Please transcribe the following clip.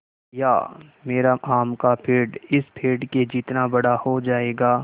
या मेरा आम का पेड़ इस पेड़ के जितना बड़ा हो जायेगा